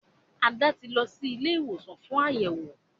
Ada tí lọ sì Ilé ìwòsàn fún Àyẹwò.